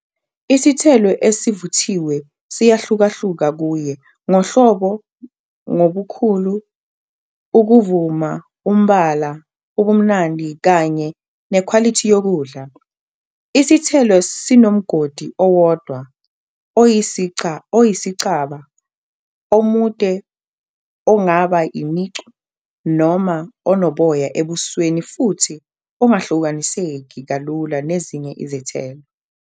Isithelo esivuthiwe siyahlukahluka kuye ngohlobo ngobukhulu, ukuma, umbala, ubumnandi, kanye nekhwalithi yokudla. Isithelo sinomgodi owodwa oyisicaba, omude ongaba Imicu noma onoboya ebusweni futhi ongahlukaniseki kalula nezinye izithelo.